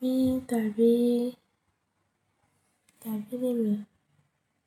míì tàbí tàbí lẹ́lẹ̀.